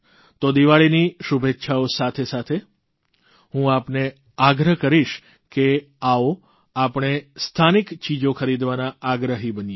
તો દીવાળીની શુભેચ્ચાઓ સાથે સાથે હું આપને આગ્રહ કરીશ કે આવો આપણે સ્થાનિક ચીજો ખરીદવાના આગ્રહી બનીએ